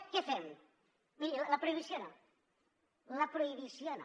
què fem miri la prohibició no la prohibició no